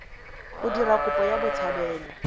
go dira kopo ya botshabelo